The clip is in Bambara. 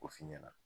O f'i ɲɛna